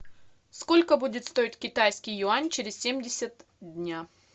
сколько будет стоит китайский юань через семьдесят дня